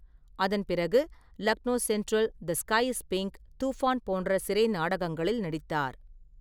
அதன்பிறகு ‘Lucknow central’, ‘the sky is pink’, ‘Toofaan’ போன்ற சிறை நாடகங்களில் நடித்தார்.